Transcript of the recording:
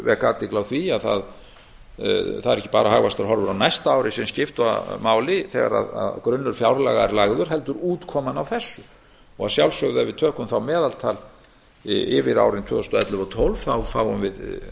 vek athygli á því að það eru ekki bara hagvaxtarhorfur á næsta ári sem skipta máli þegar grunnur fjárlaga er lagður heldur útkoman á þessu að sjálfsögðu ef við tökum þá meðaltal yfir árin tvö þúsund og ellefu og tvö þúsund og tólf fáum við